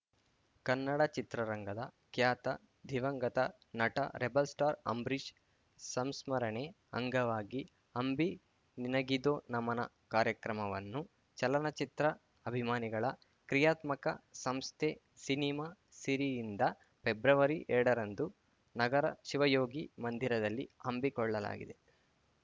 ಕನ್ನಡ ಚಿತ್ರರಂಗದ ಖ್ಯಾತ ದಿವಂಗತ ನಟ ರೆಬಲ್‌ಸ್ಟಾರ್‌ ಅಂಬರೀಶ್‌ ಸಂಸ್ಮರಣೆ ಅಂಗವಾಗಿ ಅಂಬಿ ನಿನಗಿದೋ ನಮನ ಕಾರ್ಯಕ್ರಮವನ್ನು ಚಲನಚಿತ್ರ ಅಭಿಮಾನಿಗಳ ಕ್ರಿಯಾತ್ಮಕ ಸಂಸ್ಥೆ ಸಿನಿಮಾ ಸಿರಿಯಿಂದ ಫೆಬ್ರವರಿಎರಡರರಂದು ನಗರ ಶಿವಯೋಗಿ ಮಂದಿರದಲ್ಲಿ ಹಮ್ಮಿಕೊಳ್ಳಲಾಗಿದೆ